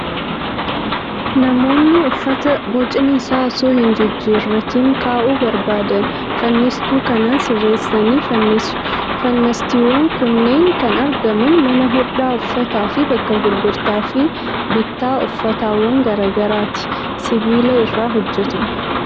Namoonni uffata bocni isaa osoo hin jijjiiratiin kaa'uu barbaadan, fannistuu kanaan sirreessanii fannisu. Fannistuuwwan kunneen kan argaman mana hodhaa uffataa fi bakka gurgurtaa fi bittaa uffatawwan garaa garaati. Sibiila irraa hojjetama.